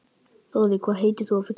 Þorri, hvað heitir þú fullu nafni?